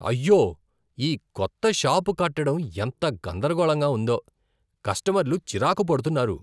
అయ్యో! ఈ కొత్త షాపు కట్టడం ఎంత గందరగోళంగా ఉందో, కస్టమర్లు చిరాకు పడుతున్నారు.